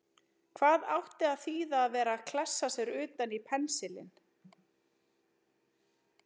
Hvað átti að þýða að vera að klessa sér utan í pensilinn!